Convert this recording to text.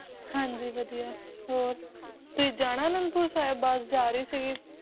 ਹਾਂਜੀ ਵਧੀਆ ਹੋਰ, ਤੁਸੀਂ ਜਾਣਾ ਆਨੰਦਪੁਰ ਸਾਹਿਬ ਬਸ ਜਾ ਰਹੀ ਸੀਗੀ